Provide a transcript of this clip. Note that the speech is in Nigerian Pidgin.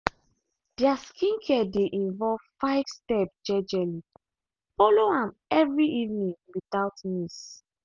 their skincare dey involve five step jejely follow am every evening without miss.